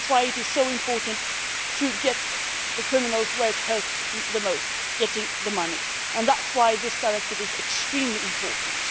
That is why it is so important to hit the criminals where it hurts most getting the money. And that is why this directive is extremely important.